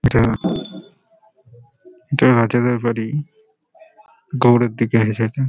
এটা-আ এটা আজাদের বাড়ি গৌড়ের দিকে এসেছে।